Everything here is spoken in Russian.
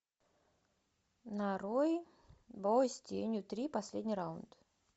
нарой бой с тенью три последний раунд